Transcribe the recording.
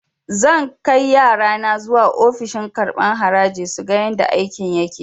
Zan kai yarana zuwa ofishin karɓan haraji suga yadda aikin yake